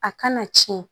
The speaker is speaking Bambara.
A kana tiɲɛ